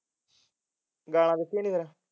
ਗਾਲਾ ਕੱਢੀਆਂ ਨੀ ਫਿਰ